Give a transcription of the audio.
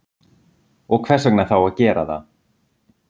Og hvers vegna þá að gera það?